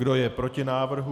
Kdo je proti návrhu?